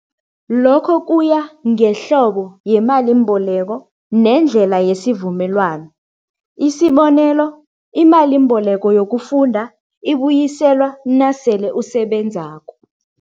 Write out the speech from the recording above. Lokho kuya ngehlobo yemalimboleko nendlela yesivumelwano. Isibonelo, imalimboleko yokufunda ibuyiselwa nasele usebenzako.